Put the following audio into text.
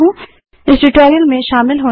इस ट्यूटोरियल में शामिल होने के लिए धन्यवाद